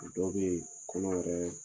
Dɔw beyi o bi ɲini k'a kɛ